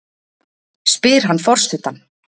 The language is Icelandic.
spyr hann forsetann.